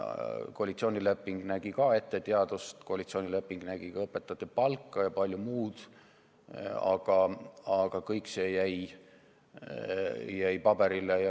Koalitsioonileping nägi samuti ette teaduse rahastamist, koalitsioonileping nägi ette ka õpetajate palka ja palju muud, aga see kõik jäi ainult paberile.